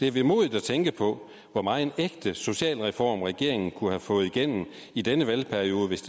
er vemodigt at tænke på hvor megen ægte social reform regeringen kunne have fået igennem i denne valgperiode hvis